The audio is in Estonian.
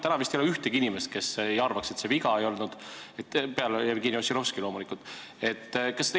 Täna vist ei ole ühtegi inimest, kes arvaks, et see viga ei olnud, Jevgeni Ossinovski loomulikult välja arvatud.